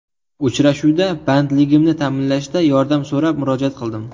Uchrashuvda bandligimni ta’minlashda yordam so‘rab murojaat qildim.